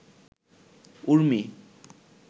Urmi